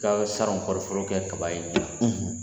saron kɔɔri foro kaba ye